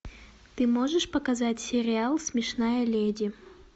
ты можешь показать сериал смешная леди